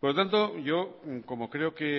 por lo tanto yo como creo que